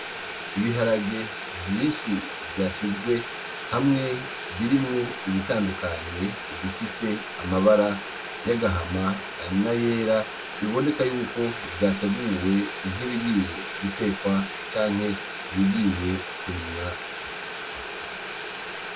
Ibiharage vyinshi vyashizwe hamwe birimwo ibitandukanye bifise amabara y'agahama; n'ayera biboneka yuko vyateguwe nkibigiye gutekwa canke ibigiye kurimwa.